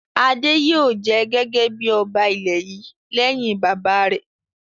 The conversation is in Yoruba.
Adé yóò jẹ gẹ́gẹ́ bí ọba ilẹ̀ yìí lẹ́yìn bàbá rẹ̀!